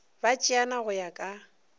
ba tšeana go ya ka